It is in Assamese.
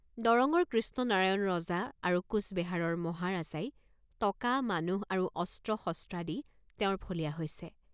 দৰঙ্গৰ কৃষ্ণ নাৰায়ণ ৰজা আৰু কোচবেহাৰৰ মহাৰাজাই টকা মানুহ আৰু অস্ত্ৰ শস্ত্ৰাদি তেওঁৰ ফলীয়া হৈছে।